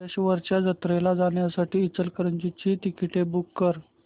कल्लेश्वराच्या जत्रेला जाण्यासाठी इचलकरंजी ची तिकिटे बुक कर